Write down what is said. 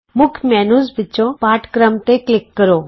ਮੁੱਖ ਮੈਨਯੂ ਵਿਚੋਂ ਪਾਠ ਕ੍ਰਮ ਤੇ ਕਲਿਕ ਕਰੋ